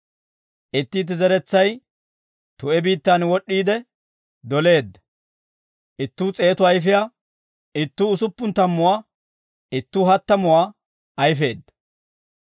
Itti itti zeretsay tu'e biittaan wod'd'iide doleedda; ittuu s'eetu ayfiyaa, ittuu usuppun tammuwaa, ittuu hattamuwaa ayfeedda.